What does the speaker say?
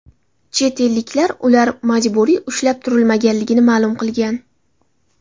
Chet elliklar ular majburiy ushlab turilmaganligini ma’lum qilgan.